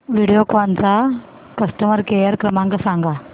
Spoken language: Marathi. व्हिडिओकॉन चा कस्टमर केअर क्रमांक सांगा